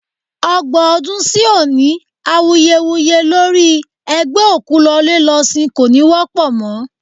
Ọgbọ́n ọdún sí òní, awuyewuye lórí ẹ gbé òkú lọlé lọ sín kò ní wọ́pọ̀ mọ́.